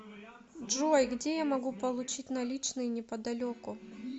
джой где я могу получить наличные неподалеку